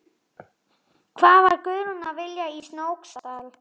Hvað var Guðrún að vilja í Snóksdal?